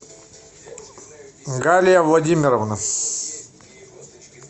галия владимировна